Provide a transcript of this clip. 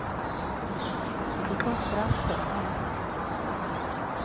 Det fick hon straff för hemma.